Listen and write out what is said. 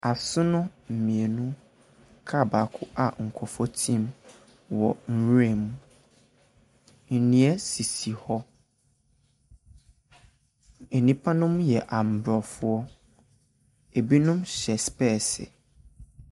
Asono mmienu, kaa baako a nkurɔfoɔ te mu wɔ nwura mu. Nnua sisi hɔ. Nnipa nom yɛ Aborɔfo. Ɛbinom hyɛ specs.